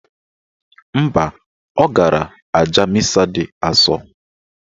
Mba, ọ gara aja misa dị asọ.